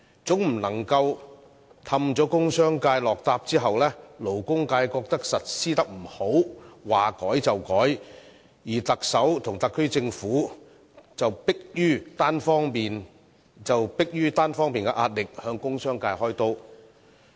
當局不能哄騙工商界答應後，因勞工界覺得實施得不好，要求更改，於是特首和特區政府便迫於單方面的壓力，向工商界"開刀"。